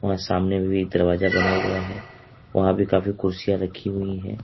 और सामने में भी एक दरवाजा बना हुआ है वहां भी काफी कुर्सियां रखी हुई है।